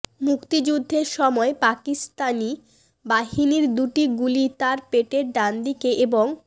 মুক্তিযুদ্ধের সময় পাকিস্তানি বাহিনীর দুটি গুলি তার পেটের ডান দিকে এবং